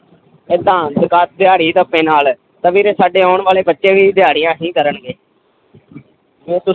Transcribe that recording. ਏਦਾਂ ਦਿਹਾੜੀ ਨਾਲ ਤਾਂ ਵੀਰੇ ਸਾਡੇ ਆਉਣ ਵਾਲੇ ਬੱਚੇ ਵੀ ਦਿਹਾੜੀਆਂ ਹੀ ਕਰਨਗੇ